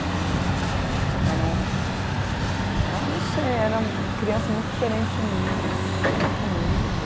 de Era um, ah não sei, era um, criança muito diferente de mim, elas não tinham nada a ver comigo.